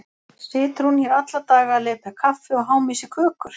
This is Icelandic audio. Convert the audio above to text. Situr hún hér alla daga að lepja kaffi og háma í sig kökur?